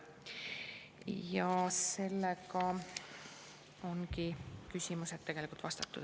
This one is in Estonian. Ja sellega ongi küsimused tegelikult vastatud.